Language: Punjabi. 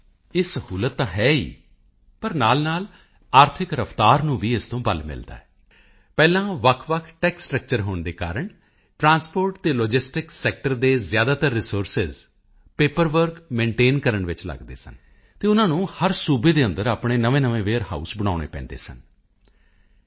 ਇਹ ਸਹੂਲਤ ਤਾਂ ਹੈ ਹੀ ਪਰ ਨਾਲਨਾਲ ਆਰਥਕ ਰਫ਼ਤਾਰ ਨੂੰ ਵੀ ਇਸ ਤੋਂ ਬਲ ਮਿਲਦਾ ਹੈ ਪਹਿਲਾਂ ਵੱਖਵੱਖ ਟੈਕਸ ਸਟ੍ਰਕਚਰ ਹੋਣ ਦੇ ਕਾਰਨ ਟਰਾਂਸਪੋਰਟ ਅਤੇ ਲੌਜਿਸਟਿਕਸ ਸੈਕਟਰ ਦੇ ਜ਼ਿਆਦਾਤਰ ਰਿਸੋਰਸਿਜ਼ ਪੇਪਰ ਵਰਕ ਮੇਨਟੇਨ ਕਰਨ ਵਿੱਚ ਲੱਗਦੇ ਸਨ ਅਤੇ ਉਨ੍ਹਾਂ ਨੂੰ ਹਰ ਸਟੇਟ ਦੇ ਅੰਦਰ ਆਪਣੇ ਨਵੇਂਨਵੇਂ ਵੇਅਰ ਹਾਊਸ ਬਨਾਉਣੇ ਪੈਂਦੇ ਸਨ ਜੀ